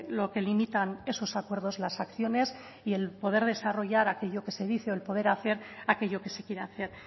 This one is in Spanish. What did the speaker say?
lo que limitan esos acuerdos las acciones y el poder desarrollar aquello que se dice o el poder hacer aquello que se quiere hacer